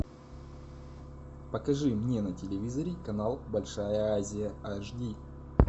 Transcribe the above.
покажи мне на телевизоре канал большая азия аш ди